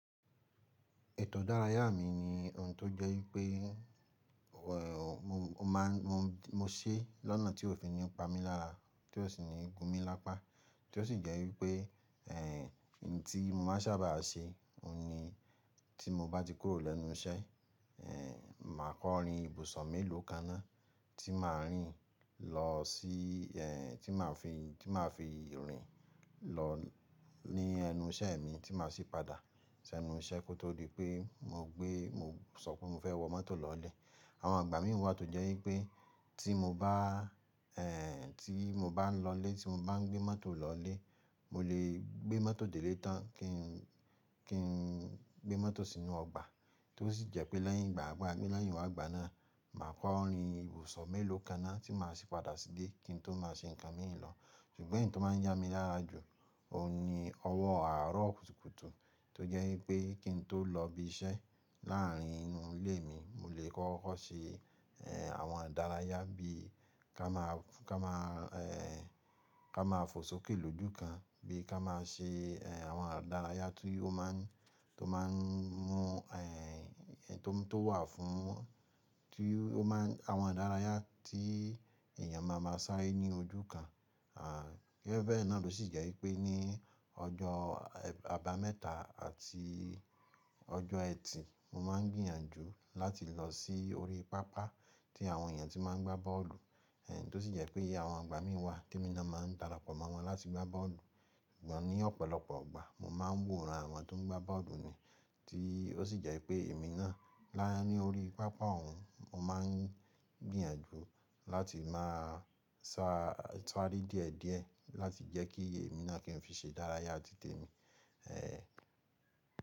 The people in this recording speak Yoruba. Ètò ìdárayá mi ni ohun tó jẹ́ wípé mo máa ń, mo ṣe lọ́nà tí ó fi ní pa mí lára, tí ó sì ní gun mí lápá. Tí ó sì jẹ́ wípé, ohun tí mo máa n sábà ṣe, òun ni tí mo bá ti kúrò lẹ́nu iṣẹ́, màá kọ rin ìbùsọ̀ mélòó kan ná tí màá rìn lọ sí, tí màá fi, tí màá fi rìn lọ ní ẹnu iṣẹ́ mi tí màá sì padà sí ẹnu iṣẹ́ kó tó di pé mo gbé, mo sọ pé mo fẹ́ wọ mọ́tò lọlé. Àwọn igbà mi wà tó jẹ́ wípé tí mo bá, tí mo bá ń lọlé, tí mo bá ń gbé mọ́tò lọlé, mo lè gbé mọ́tò dè ile tan kí ń, kí ń gbé mọ́tò sínú ọgbà. Tí ó sì jẹ́ pé lẹ́yìn ìgbà gbà mí lẹ́yìn wágbà náà, màá kọ orin ìbùsọ̀ mélòó kan ná tí màá sì padà síle kí n tó má se ǹkan míì lọ. Ṣùgbọ́n eyi ti o má ń yá mi lára jù, òun ni ọwọ́ àárọ̀ kùtùkùtù tó jẹ́ wípé kí n tó lọ ibi iṣẹ́ láàrin inú ilé mi, mo lè kọ́kọ́ ṣe, àwọn ìdárayá bí i ká máa, ká máa, ká máa fò sókè lójú kan. Bí i ká máa ṣe, àwọn ìdárayá tí ó má ń, tó má ń mú, to tó wà fún, tí ó má ń, àwọn ìdárayá tí èèyàn máa máa sáré ní ojú kan. Bee bẹ́ẹ̀ náà ló sì jẹ́ wípé ní ọjọ́, àbámẹ́ta àti ọjọ́ ẹtì, mo má ń gbìyànjú láti lọ sí orí pápá tí àwọn èèyàn tí má ń gbá bọ́ọ̀lù. Tó sì jẹ́ pé àwọn igbà mí wà tí emi naa máa ń darapọ̀ mọ́ wọn láti gbá bọ́ọ̀lù. Sugbon ní ọ̀pọ̀lọpọ̀ igbà mo má ń woran àwọn tó ń gbá bọ́ọ̀lù ni. Tí ó sì jẹ́ pé èmi náà láa ní orí pápá òun, mo má ń gbìyànjú láti máa sá, sáré díẹ̀díẹ̀ láti jẹ́ kí èmi náà kí n fi ṣe ìdárayá tí te mi.